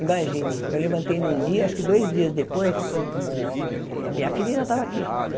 Imagine, eu levantei num dia, acho que dois dias depois, minha filha ainda estava aqui.